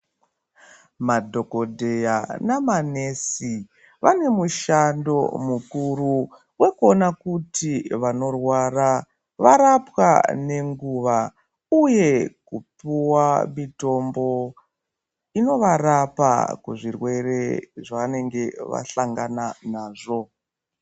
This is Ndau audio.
Madhokodheya nemanesi vane mushando mukuru wekuona kuti vanorwara varapwa nenguwa uye kupuwa mitombo inovarapa zvirwere zvavanenge vahlangana nazvo.